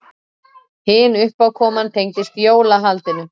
Hin uppákoman tengdist jólahaldinu.